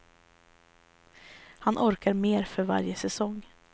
Han orkar mer för varje säsong.